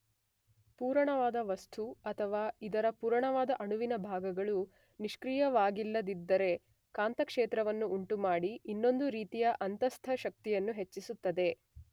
ಪೂರಣವಾದ ವಸ್ತು ಅಥವಾ ಇದರ ಪೂರಣವಾದ ಅಣುವಿನ ಭಾಗಗಳು ನಿಷ್ಕ್ರಿಯವಾಗಿಲ್ಲದಿದ್ದರೆ ಕಾಂತ ಕ್ಷೇತ್ರವನ್ನು ಉಂಟುಮಾಡಿ ಇನ್ನೊಂದು ರೀತಿಯ ಅಂತಸ್ಥಶಕ್ತಿಯನ್ನು ಹೆಚ್ಚಿಸುತ್ತದೆ